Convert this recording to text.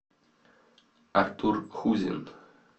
артур хузин